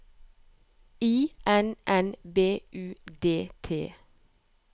I N N B U D T